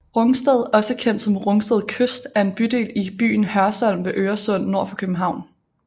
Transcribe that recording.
Rungsted også kendt som Rungsted Kyst er en bydel i byen Hørsholm ved Øresund nord for København